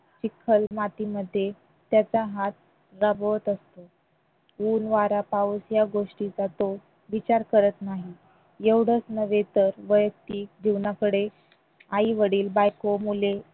चिखल मातीमध्ये त्याचा हात राबवत असतो ऊन वारा पाऊस या गोष्टीचा तो विचार करत नाही एवढच नव्हे तर वैयक्तिक जीवनाकडे आई वडील बायको मुले